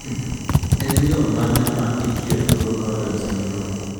En yoo mane ma ithiedho go Cowden syndrome?